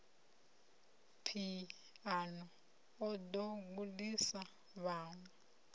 phiano o ḓo gudisa vhaṅwe